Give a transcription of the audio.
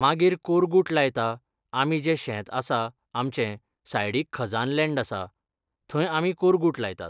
मागीर कोरगूट लायता आमी जें शेत आसा आमचें सायडीक खजान लँड आसा, थंय आमी कोरगूट लायतात.